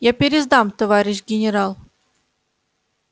я пересдам товарищ генерал